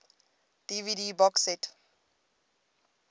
dvd box set